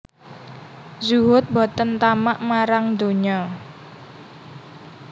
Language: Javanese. Zuhud boten tamak marang donyo